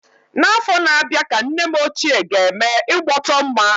N'afọ na-abịa ka nne m ochie ga-eme ịgbọtọmma.